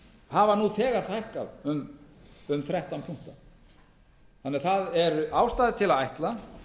hafa nú þegar hækkað um þrettán punkta þannig að það er ástæða til að ætla